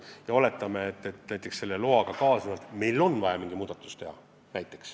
Aga oletame, et loaga kaasnevalt on meil vaja mingi muudatus teha.